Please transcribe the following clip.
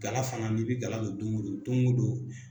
Gala fana n'i bɛ gala don don o don o don